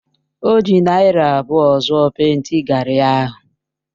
O ji naira abụọ zụọ pèịnti gari ahụ.